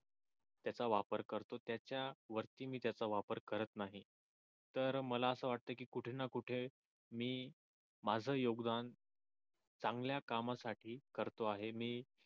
त्याचा वापर करतो त्याच्या वरती मी त्याचा वापर करत नाही तर मला आस वाटत की कुठे ना कुठे मी माझ योगदान चांगल्या कामासाठी करतो आहे मी